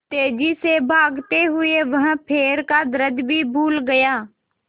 तेज़ी से भागते हुए वह पैर का दर्द भी भूल गया